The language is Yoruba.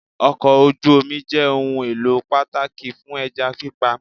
Okò ojú Omi jẹ́ ohun èlò pàtàkì fún ẹja pípa